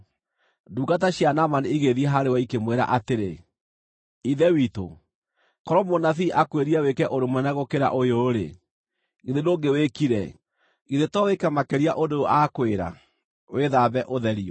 Ndungata cia Naamani igĩthiĩ harĩ we ikĩmwĩra atĩrĩ, “Ithe witũ, korwo mũnabii akwĩrire wĩke ũndũ mũnene gũkĩra ũyũ-rĩ, githĩ ndũngĩwĩkire? Githĩ to wĩke makĩria ũndũ ũyũ aakwĩra, ‘Wĩthambe, ũtherio!’ ”